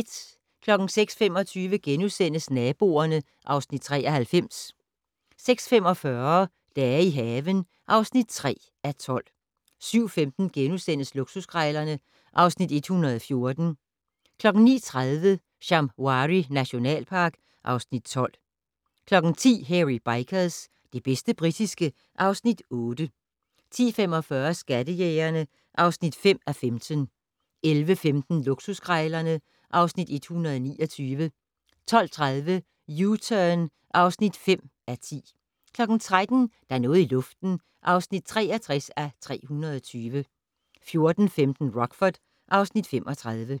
06:25: Naboerne (Afs. 93)* 06:45: Dage i haven (3:12) 07:15: Luksuskrejlerne (Afs. 114)* 09:30: Shamwari nationalpark (Afs. 12) 10:00: Hairy Bikers - det bedste britiske (Afs. 8) 10:45: Skattejægerne (5:15) 11:15: Luksuskrejlerne (Afs. 129) 12:30: U-Turn (5:10) 13:00: Der er noget i luften (63:320) 14:15: Rockford (Afs. 35)